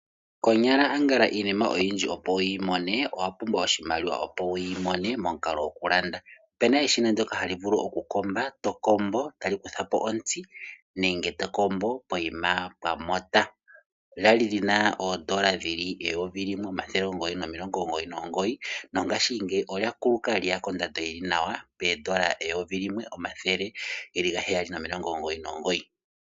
Konyala angala iinima oyindji opo wu yi mone owa pumbwa oshimaliwa, opo wu yi mone momukalo gokulanda. Opena eshino ndoka hali vulu okukomba, to kombo, tali kuthapo ontsi nenge to kombo poyima pwa mota. Lyali lyina oondola eyovi limwe omathele omugoyi nomilongo omugoyi nomugoyi, nongashingeyi olya kuluka lye ya kondando yili nawa poondola eyovi limwe, omathele gaheyali nomilongo omugoyi nomugoyi.